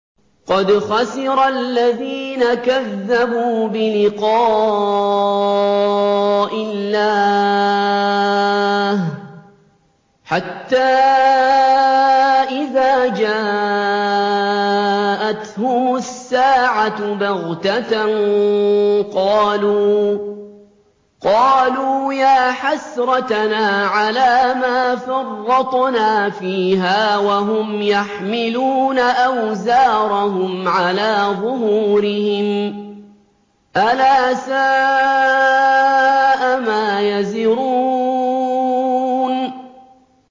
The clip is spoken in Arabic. قَدْ خَسِرَ الَّذِينَ كَذَّبُوا بِلِقَاءِ اللَّهِ ۖ حَتَّىٰ إِذَا جَاءَتْهُمُ السَّاعَةُ بَغْتَةً قَالُوا يَا حَسْرَتَنَا عَلَىٰ مَا فَرَّطْنَا فِيهَا وَهُمْ يَحْمِلُونَ أَوْزَارَهُمْ عَلَىٰ ظُهُورِهِمْ ۚ أَلَا سَاءَ مَا يَزِرُونَ